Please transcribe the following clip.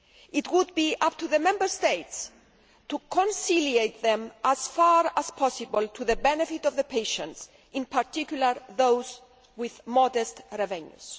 It would be up to the Member States to reconcile them as far as possible to the benefit of the patients, in particular those with modest revenues.